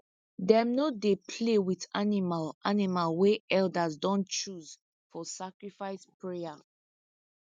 them no dey play with animal animal wey elders don choose for sacrifice prayer